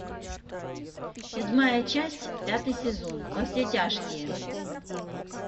седьмая часть пятый сезон во все тяжкие